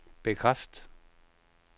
bekræft